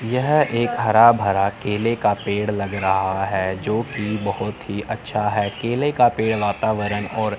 यह एक हरा भरा केले का पेड़ लग रहा है जो कि बहोत ही अच्छा है केले का पेड़ वातावरण और--